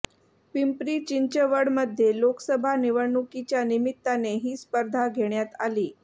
पिंपरी चिंचवडमध्ये लोकसभा निवडणुकीच्या निमित्ताने ही स्पर्धा घेण्यात आली